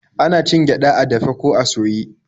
Ana cin gyaɗa a dafe ko a soye.